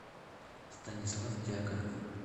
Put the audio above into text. станислав дьяконов